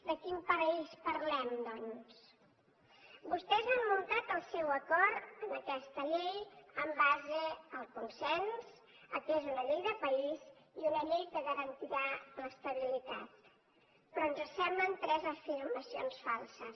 de quin paradís parlem doncs vostès han muntat el seu acord en aquesta llei en base al consens que és una llei de país i una llei que garantirà l’estabilitat però ens semblen tres afirmacions falses